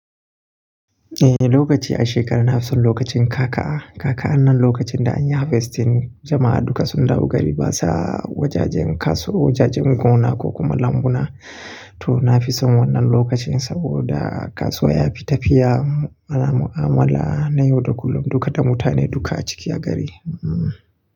Eh lokaci a shekara na fi son lokacin ka ka Kaka'an nan lokacin da anyi harvestin jama'a duka sun dawo gari basa wajajen kasuwa, wajajen gona ko kuma lambuna. To na fi son wannan lokacin saboda kasuwa yafi tafiya ana mu'amala na yau da kullum duka da mutane duka a ciki a gari. Hmm.